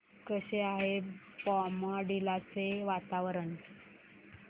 कसे आहे बॉमडिला चे वातावरण